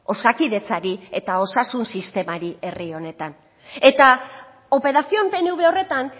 osakidetzari eta osasun sistemari herri honetan eta operación pnv horretan